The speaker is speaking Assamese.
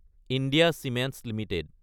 India Cements Ltd